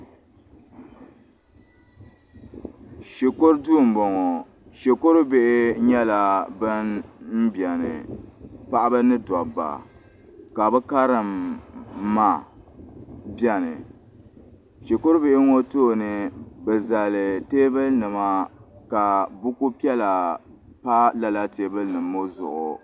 Shikuru duu m-bɔŋɔ shikur' bihi nyɛla ban m-beni paɣaba ni dobba ka bɛ Karim ma beni shikur' bihi ŋɔ tooni bɛ zali teebuli nima ka buku piɛla pa lala teebuli nima ŋɔ zuɣu.